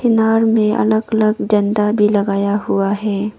नार में अलग अलग झंडा भी लगाया हुआ है।